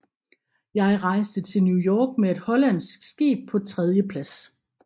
Jeg reiste til New York med et hollandsk Skib paa 3dje Plads